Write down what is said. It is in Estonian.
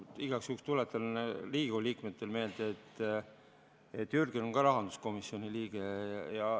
Ma igaks juhuks tuletan Riigikogu liikmetele meelde, et Jürgen on ka rahanduskomisjoni liige.